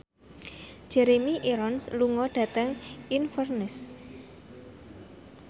Jeremy Irons lunga dhateng Inverness